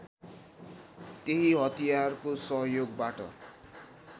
त्यही हतियारको सहयोगबाट